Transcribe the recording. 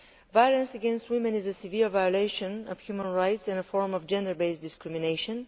Violence against women is a severe violation of human rights in the form of gender based discrimination.